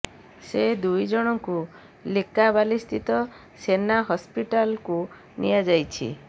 ସେ ଦୁଇ ଜଣଙ୍କୁ ଲିକାବାଲିସ୍ଥିତ ସେନା ହସ୍ପିଟାଲ୍କୁ ନିଆ ଯାଇଛି